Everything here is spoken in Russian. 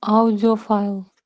аудиофайл